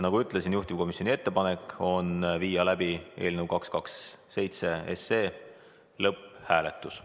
Juhtivkomisjoni ettepanek on viia läbi eelnõu lõpphääletus.